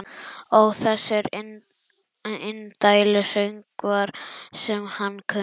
Ó þessir indælu söngvar sem hann kunni.